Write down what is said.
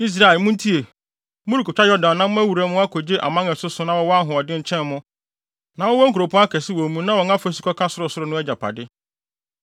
Israel, muntie: Morekotwa Yordan na moawura mu akogye aman a ɛsoso na wɔwɔ ahoɔden kyɛn mo na wɔwɔ nkuropɔn akɛse wɔ mu na wɔn afasu kɔka sorosoro no, agyapade.